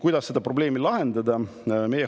Kuidas seda probleemi lahendada?